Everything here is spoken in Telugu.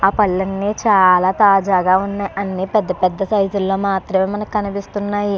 ఆ పళ్ళు అన్ని చాలా తాజాగా ఉన్నాయి అన్ని పెద్ద పెద్ద సైజు ల్లో మాత్రమే మనకీ కనిపిస్తున్నాయి.